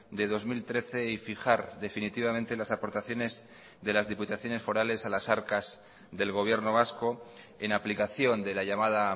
de dos mil trece y fijar definitivamente las aportaciones de las diputaciones forales a las arcas del gobierno vasco en aplicación de la llamada